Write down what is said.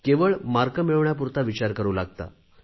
केवळ गुण मिळवण्यापुरता विचार करू लागता